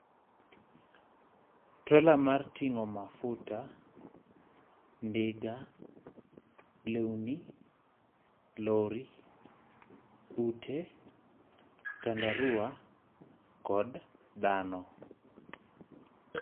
Trela mar tingó mafuta, ndiga, lewni, lori, ute, tandaruwa kod dhano